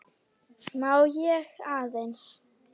Má ég aðeins!